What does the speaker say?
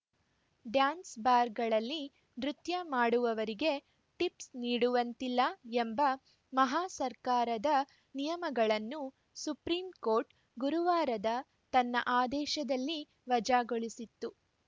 ಡ್ಯಾನ್ಸ್‌ಬಾರ್‌ಗಳಲ್ಲಿ ನೃತ್ಯ ಮಾಡುವವರಿಗೆ ಟಿಫ್ಸ್ ನೀಡುವಂತಿಲ್ಲ ಎಂಬ ಮಹಾ ಸರ್ಕಾರದ ನಿಯಮಗಳನ್ನು ಸುಪ್ರೀಂಕೋರ್ಟ್‌ ಗುರುವಾರದ ತನ್ನ ಆದೇಶದಲ್ಲಿ ವಜಾಗೊಳಿಸಿತ್ತು